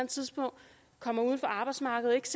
tidspunkt kommer uden for arbejdsmarkedet